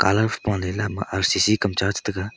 paleley ama R_C_C kamcha taiga.